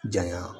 Janya